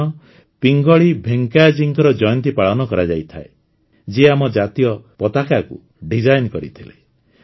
ଏହି ଦିନ ପିଙ୍ଗଳୀ ଭେଙ୍କୈୟାଜୀଙ୍କ ଜୟନ୍ତୀ ପାଳନ କରାଯାଇଥାଏ ଯିଏ ଆମ ଜାତୀୟ ପତାକାକୁ ଡିଜାଇନ୍ କରିଥିଲେ